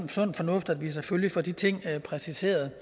sund fornuft at vi selvfølgelig får de ting præciseret